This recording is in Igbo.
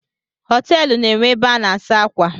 Họteelụ na enwe ebe a na-asa ákwà